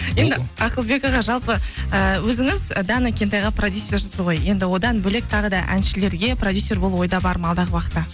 енді ақылбек аға жалпы ы өзіңіз дана кентайға продюссерсіз ғой енді одан бөлек тағы да әншілерге продюссер болу ойда бар ма алдағы уақытта